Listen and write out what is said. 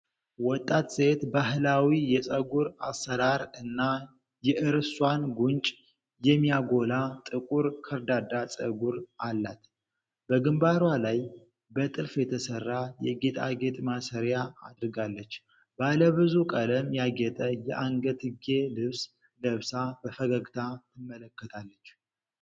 ወጣት ሴት ባህላዊ የፀጉር አሠራር እና የእርሷን ጉንጭ የሚያጎላ ጥቁር ከርዳዳ ፀጉር አላት። በግንባሯ ላይ በጥልፍ የተሰራ የጌጣጌጥ ማሰሪያ አድርጋለች። ባለብዙ ቀለም ያጌጠ የአንገትጌ ልብስ ለብሳ በፈገግታ ትመለከታለች።